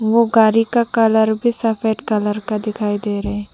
वो गाड़ी का कलर भी सफेद कलर का दिखाई दे रहे--